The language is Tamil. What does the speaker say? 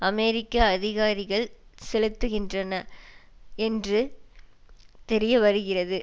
அமெரிக்க அதிகாரிகள் செலுத்துகின்றனர் என்று தெரிய வருகிறது